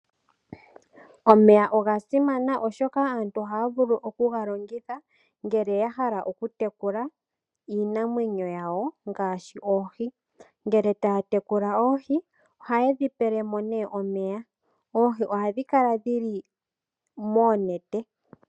Omeya oga simana oshoka aantu ohaya vulu okugalongitha ngele yahala okutekula iinamwenyo yawo ngaashi oohi. Ngele taya tekula oohi, ohaye dhi pelemo omeya. Oohi ohadhi kala dhili noonete.